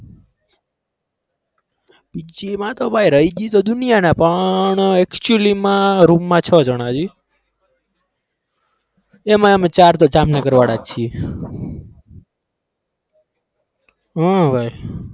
PG માં તો ભાઈ રહી તો દુનિયાના પણ actually માં room માં છ જ જણા છીએ એમાં અમે ચાર તો જામનગર વાળા છીએ હા ભાઈ.